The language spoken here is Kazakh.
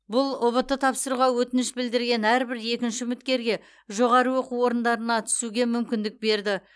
бұл ұбт тапсыруға өтініш білдірген әрбір екінші үміткерге жоғарғы оқу орындарына түсуге мүмкіндік берді